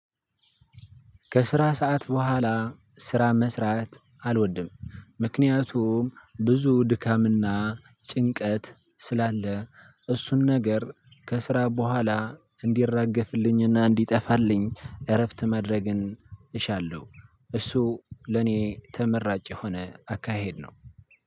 ከስራ ሰዓት በኋላ ስራ መስራት አልወድም። ምክንያቱም ብዙ ድካምና ጭንቀት ስላለ እሱን ነገር ከስራ በኋላ እንዲራገፍልኝ እና እንዲጠፋልኝ እረፍት ማድረግን እሻለሁ። እሱ ለኔ ተመራጭ የሆነ አካሄድ ነው።